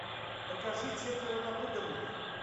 покажи четверо напуганных